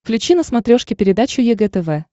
включи на смотрешке передачу егэ тв